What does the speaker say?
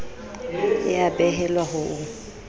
e a behelwa ho o